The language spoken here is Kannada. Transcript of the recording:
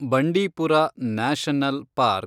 Bandipur National park